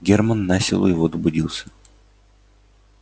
германн насилу его добудился